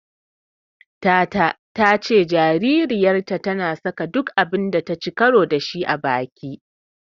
Tata ta ce jaririyarta tana saka duk abun da taci karo da shi a baki.